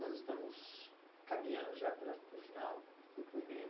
Nós estamos caminhando já para para o final do